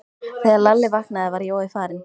Þegar Lalli vaknaði var Jói farinn.